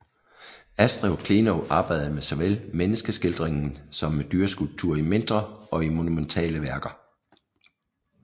Astrid Klenow arbejdede med såvel menneskeskildringen som med dyreskulpturer i mindre og i monumentale værker